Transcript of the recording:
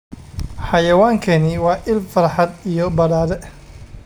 Xayawaankani waa il farxad iyo badhaadhe.